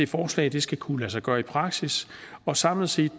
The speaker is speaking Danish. forslaget skal kunne lade sig gøre i praksis og samlet set